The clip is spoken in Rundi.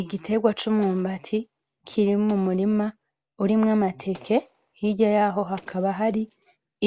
Igiterwa c'umwumbati kiri mumurima urimwo amateke hirya yaho hakaba hari